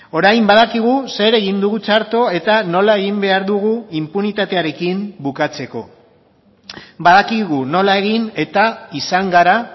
orain badakigu zer egin dugu txarto eta nola egin behar dugu inpunitatearekin bukatzeko badakigu nola egin eta izan gara